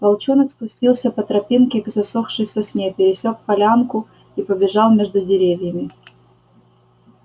волчонок спустился по тропинке к засохшей сосне пересёк полянку и побежал между деревьями